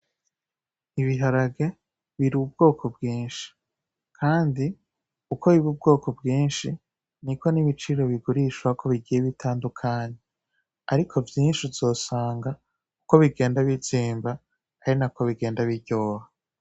Ibiharage biri ubwoko bwinshi, kandi uko biri ubwoko bwinshi niko n'ibiciro bigurishwako bigiye bitandukanye, ariko vyinshi uzosanga uko bigenda bizimba ariko bigenda biryoha.